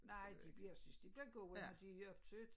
Nej de bliver synes det bliver gode når de er optøet